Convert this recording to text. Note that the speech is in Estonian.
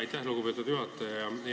Aitäh, lugupeetud juhataja!